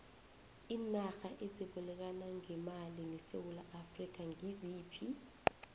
iinarha ezibolekana ngemali nesewula afrika ngiziphi